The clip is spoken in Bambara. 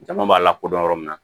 Jama b'a la kodɔn yɔrɔ min na